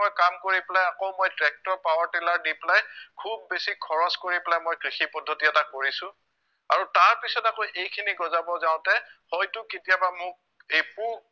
মই কাম কৰি পেলাই আকৌ মই tractor, power tiller দি পেলাই খুউব বেছি খৰছ কৰি পেলাই মই কৃষি পদ্ধতি এটা কৰিছো আৰু তাৰ পাছত আকৌ এইখিনি গজাব যাওতে হয়তো কেতিয়াবা মোক এই পোক